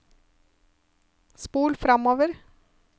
spol framover